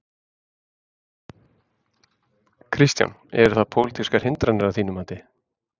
Kristján: Eru það pólitískar hindranir að þínu mati?